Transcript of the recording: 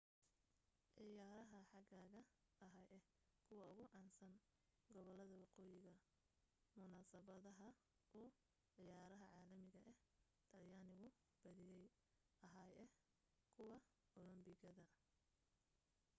ciyaarha xagaaga ahaa ah kuwa ugu caansan gobolada waqooyiga munasabadaha uu ciyaaraha caalamiga ah talyaanigu badiya ahaa ah kuwa olombobikada